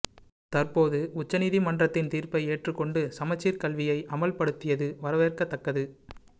தற்போது உச்சநிதி மன்றத்தின் தீர்ப்பை ஏற்று கொண்டு சமச்சீர் கல்வியை அமல் படுத்தியது வரவேற்கதக்கது